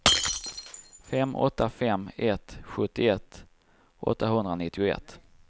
fem åtta fem ett sjuttioett åttahundranittioett